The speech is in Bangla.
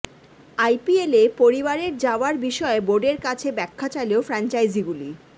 আইপিএলে পরিবারের যাওয়ার বিষয়ে বোর্ডের কাছে ব্যাখ্যা চাইল ফ্র্যাঞ্চাইজিগুলি